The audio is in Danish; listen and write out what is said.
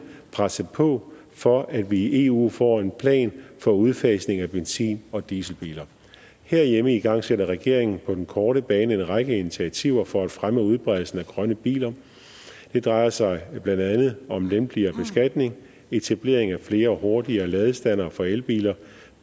presse på for at vi i eu får en plan for udfasning af benzin og dieselbiler herhjemme igangsætter regeringen på den korte bane en række initiativer for at fremme udbredelsen af grønne biler det drejer sig blandt andet om lempeligere beskatning etablering af flere og hurtigere ladestandere for elbiler